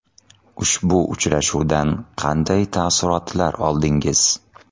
Ushbu uchrashuvdan qanday taassurotlar oldingiz?